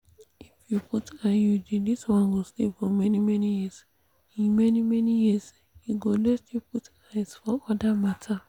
if you put iud this one go stay for many-many years. e many-many years. e go let you put eyes for other matter.